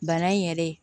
Bana in yɛrɛ